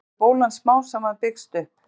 þannig hefur bólan smám saman byggst upp